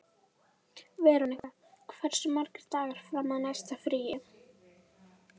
Veronika, hversu margir dagar fram að næsta fríi?